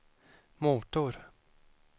motor